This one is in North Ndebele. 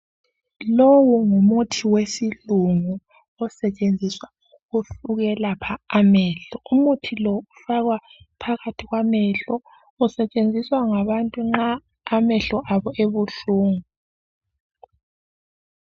Lowu ngumuthi wesilungu osetshenziswa ukwelapha amehlo. Umuthi lo ufakwa phakathi kwamehlo .Usetshenziswa ngabantu nxa amehlo abo ebuhlungu.